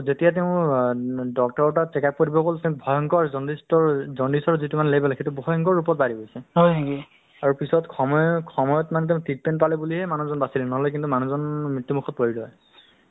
fully develop হৈছে আৰু ৰাইজক support কৰে নহয় জানো যিকোনো ক্ষেত্ৰত যে এটা area ত যদি মেলেৰিয়া হ'ল বা কিবা হৈছে বা তেনেকে খবৰ ৰাখে যে বাতচ্ ~ batches তোৰ বেমাৰ হৈছে কিয় বেমাৰ হৈছে